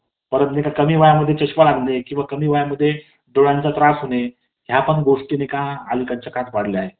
अं जेव्हा आपण school मध्ये जातो college मध्ये जातो त्याच्यानंतर तेव्हा आपल्याला teacher शिक्षक लोक भेटतात पण अं जेव्हा आपण लहान असतो